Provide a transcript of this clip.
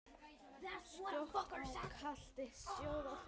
Skjótt á katli sjóða fer.